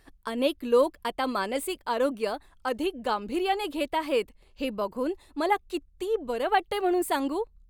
अनेक लोक आता मानसिक आरोग्य अधिक गांभीर्याने घेत आहेत हे बघून मला किती बरं वाटतंय म्हणून सांगू.